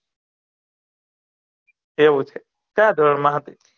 એવુ છે કયા ધોરન મા હતી?